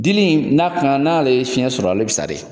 Dili n'a n'ale ye fiɲɛ sɔrɔ a le bɛ sa de!